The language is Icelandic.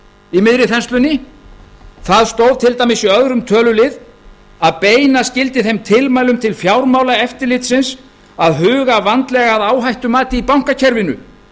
í miðri þenslunni það stóð til dæmis í öðrum tölulið að beina skyldi þeim tilmælum til fjármálaeftirlitsins að huga vandlega að áhættumati í bankakerfinu